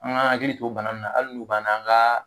An ka hakili to bana ninnu na hali n'u b'an na an ka